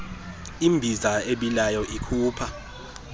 imbiza ebilayo ikhupha